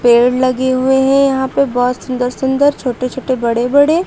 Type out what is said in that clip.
पेड़ लगे हुए हैं यहां पे बहोत सुंदर सुंदर छोटे छोटे बड़े बड़े।